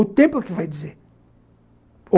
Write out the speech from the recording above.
O tempo é o que vai dizer.